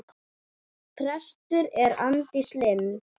Prestur er Arndís Linn.